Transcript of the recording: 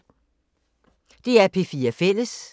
DR P4 Fælles